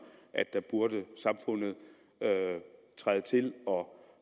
at der burde samfundet træde til og